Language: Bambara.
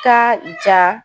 Taa ja